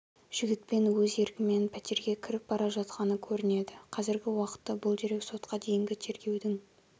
жігітпен өз еркімен пәтерге кіріп бара жатқаны көрінеді қазіргі уақытта бұл дерек сотқа дейінгі тергеудің